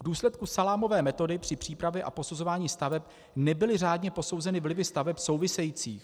V důsledku salámové metody při přípravě a posuzování staveb nebyly řádně posouzeny vlivy staveb souvisejících.